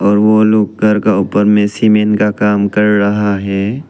और वो लोग घर का ऊपर में सीमेंट का काम कर राहा है।